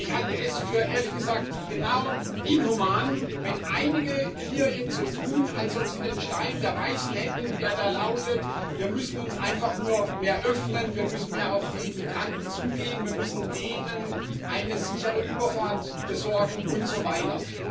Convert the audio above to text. Und ich halte es, ehrlich gesagt, für genau inhuman, wenn einige hier jetzt so tun, als ob sie den Stein der Weisen hätten, der da lautet Wir müssen uns einfach nur mehr öffnen, wir müssen mehr auf die Migranten zugehen, wir müssen denen eine sichere Überfahrt besorgen und so weiter.